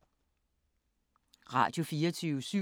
Radio24syv